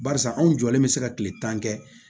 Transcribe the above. Barisa anw jɔlen bɛ se ka kile tan kɛ